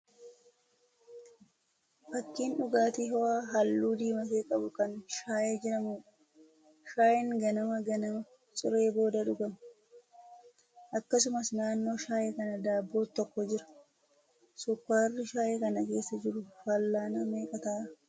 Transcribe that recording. Fakkiin dhugaatii ho'aa halluu diimate qabu kan shaayee jedhamuudha. Shaayeen ganama ganama ciree booda dhuguma. Akkasumas naannoo shaayee kanaa daabboon tokko jira. Sukkaarri shaayee kana keessa jiru fal'aana meeqa ta'a?